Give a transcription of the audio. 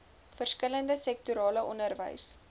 verskillende sektorale onderwys